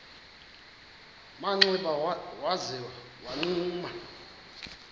manxeba waza wagquma